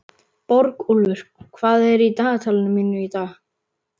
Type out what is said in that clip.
Borgúlfur, hvað er í dagatalinu mínu í dag?